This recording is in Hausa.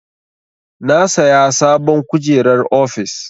Na saya sabon kujerar ofis.